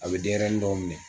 A be denyɛrɛni dɔw minɛ